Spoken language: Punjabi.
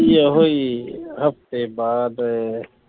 ਆਹੋ ਈ ਹਫ਼ਤੇ ਬਾਅਦ